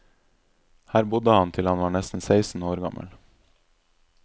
Her bodde han til han var nesten seksten år gammel.